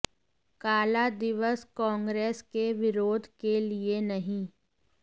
काला दिवस कांग्रेस के विरोध के लिए नहीं